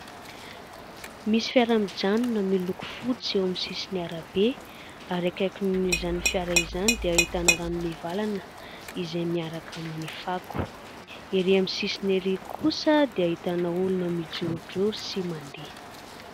Misy fiara mijanona miloko fotsy eo amin'ny sisiny arabe ary akaikin'izany fiara izany dia ahitana rano mivalana izay miaraka amin'ny fako ery amin'ny sisiny ery kosa dia ahitana olona mijorojoro sy mandeha.